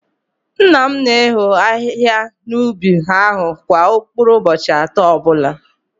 Nna m na-eho ahihia n’ubi ahụ kwa mkpụrụ ụbọchị atọ ọbụla